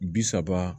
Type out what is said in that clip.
Bi saba